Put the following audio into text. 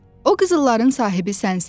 O qızılların sahibi sənsən.